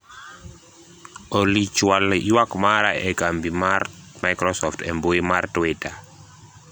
Olly chwal ywak mara ne kambi mar microsoft e mbui mar twita